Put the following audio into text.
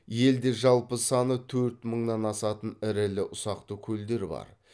елде жалпы саны төрт мыңнан асатын ірілі ұсақты көлдер бар